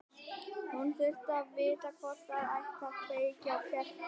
Hún þurfti að vita hvort það ætti að kveikja á kertum.